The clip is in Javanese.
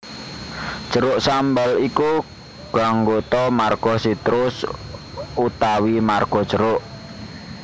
Jeruk sambal iku ganggota marga citrus utawi marga jeruk